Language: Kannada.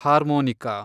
ಹಾರ್ಮೋನಿಕಾ